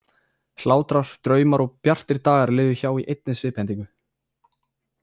Hlátrar, draumar og bjartir dagar liðu hjá í einni sviphendingu.